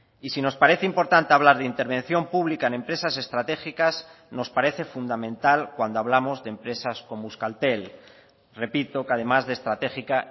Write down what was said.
y si nos parece importante hablar de intervención pública en empresas estratégicas nos parece fundamental cuando hablamos de empresas como euskaltel repito que además de estratégica